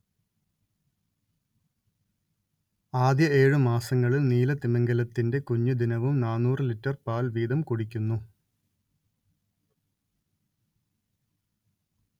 ആദ്യ ഏഴു മാസങ്ങളിൽ നീലത്തിമിംഗിലത്തിന്റെ കുഞ്ഞ് ദിനവും നാന്നൂറ് ലിറ്റര്‍ പാൽ വീതം കുടിക്കുന്നു